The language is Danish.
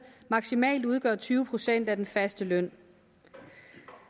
maksimalt udgøre tyve procent af den faste løn